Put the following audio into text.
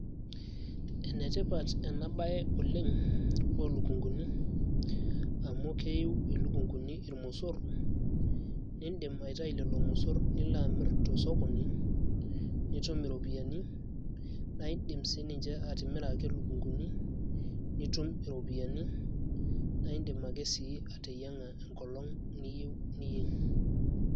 enetipat ena baye oleng oo ilukunguni amu keyiu ilukunkuni ilmosorr niindim aitayu lelo mosorr nilo amirr tosokoni nitum iropiyiani naa indim siininche atimira ake ilukunkuni nitum iropiyiani naa indim ake sii ateying`a tenkolong' niyieu.